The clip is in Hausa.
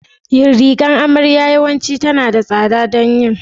Rigar amarya yawanci tana da tsada don yin